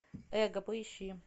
эго поищи